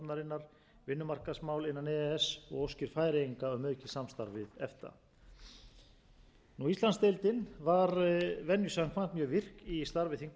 alþjóðaviðskiptastofnunarinnar vinnumarkaðsmál innan e e s og óskir færeyinga um aukið samstarf við efta íslandsdeildin var venju samkvæmt mjög virk í starfi þingmannanefnda efta og e